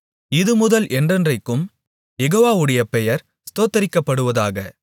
இதுமுதல் என்றென்றைக்கும் யெகோவாவுடைய பெயர் ஸ்தோத்திரிக்கப்படுவதாக